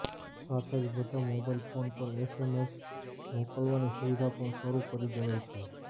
સાથે જ બધા મોબાઇલ ફોન પર એસએમએસ મોકલવાની સુવિધા પણ શરૂ કરી દેવાઈ છે